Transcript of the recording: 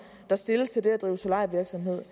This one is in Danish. der stilles til det at drive solarievirksomhed